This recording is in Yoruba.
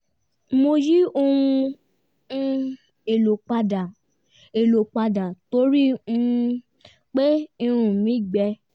mo yí ohun um èlò padà èlò padà torí um pé irun mi gbẹ